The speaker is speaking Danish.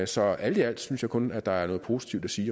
så alt i alt synes jeg kun at der er noget positivt at sige